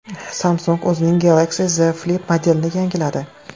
Samsung o‘zining Galaxy Z Flip modelini yangiladi.